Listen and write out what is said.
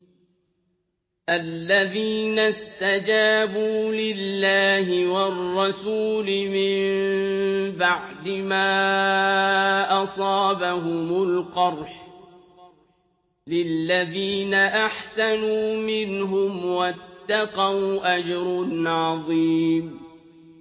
الَّذِينَ اسْتَجَابُوا لِلَّهِ وَالرَّسُولِ مِن بَعْدِ مَا أَصَابَهُمُ الْقَرْحُ ۚ لِلَّذِينَ أَحْسَنُوا مِنْهُمْ وَاتَّقَوْا أَجْرٌ عَظِيمٌ